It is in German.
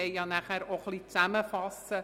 Wir wollen die Arbeiten auch zusammenfassen.